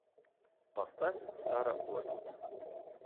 поставь сара блэквуд